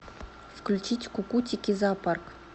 включить кукутики зоопарк